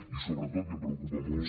i sobretot i em preocupa molt